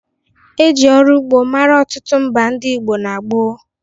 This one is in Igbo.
E ji ọru ugbo mara ọtụtụ mba ndị Igbo n'gboo